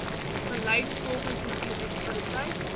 gelys volgens munisipaliteit